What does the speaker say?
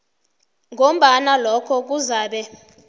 ngombana lokho kuzabe